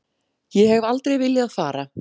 Ég hef aldrei viljað fara.